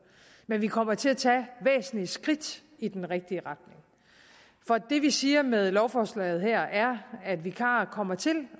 men vi kommer til at tage væsentlige skridt i den rigtige retning for det vi siger med lovforslaget her er at vikarer kommer til